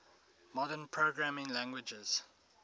modern programming languages